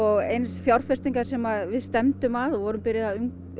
eins fjárfestingar sem við stefndum að og vorum byrjuð að